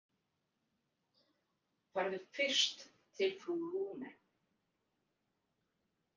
Farðu fyrst til frú Lune.